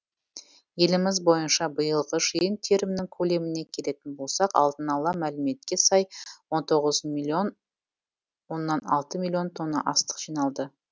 еліміз бойынша биылғы жиын терімнің көлеміне келетін болсақ алдын ала мәліметке сай он тоғыз миллион оннан алты миллион тонна астық жиналды